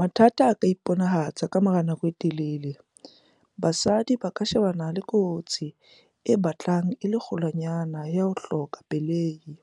"Mathata a ka iponahatsang ka morao honako e telele, basadi ba ka shebana le kotsi e batlang e le kgolwanyane ya ho hloka pelehi,